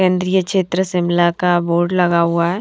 केंद्रीय क्षेत्र शिमला का बोर्ड लगा हुआ है।